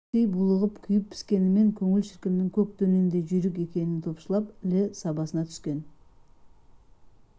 іштей булығып күйіп-піскенімен көңіл шіркіннің көк дөненнен жүйрік екенін топшылап іле сабасына түскен